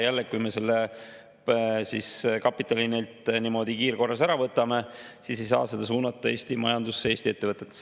Ja kui me selle kapitali neilt niimoodi kiirkorras ära võtame, siis ei saa seda suunata Eesti majandusse, Eesti ettevõtetesse.